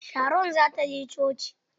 Sharon za ta je coci.